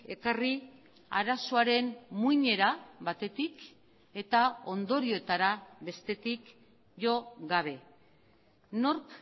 ekarri arazoaren muinera batetik eta ondorioetara bestetik jo gabe nork